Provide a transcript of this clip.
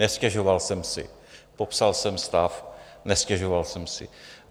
Nestěžoval jsem si, popsal jsem stav, nestěžoval jsem si.